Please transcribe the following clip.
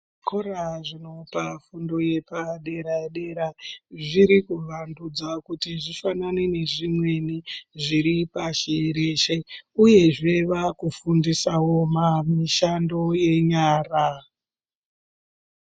Zvikora zvinopa fundo yepadera dera zviri kuwandudzwa kuti zvifanane nezvimweni zviri pashi reshe uyezve vakufundisawo mishando yenyara.